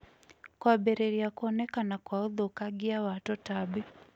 kũambĩrĩrĩa kũonekana kwa ũthũkangĩa wa tũtambĩ